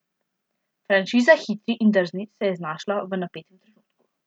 Franšiza Hitri in drzni se je znašla v napetem trenutku.